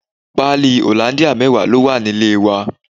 Pali hollandia mẹwa ló wà nílé wa.